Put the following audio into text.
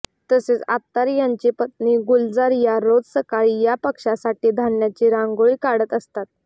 तसेच आत्तार यांची पत्नी गुलजार या रोज सकाळी या पक्ष्यांसाठी धान्याची रांगोळी काढत असतात